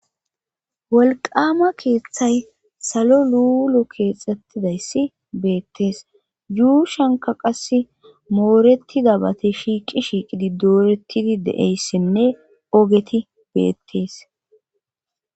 wolqama keeththay salo luulo keexxettidayssi beettees yuushanka qas mooretida bate shiiqi shiiqidi dooretidi de7eyssinne ogeti beettees